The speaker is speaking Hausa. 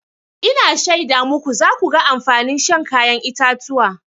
Ina shaida muku za ku ga amfanin shan kayan itatuwa.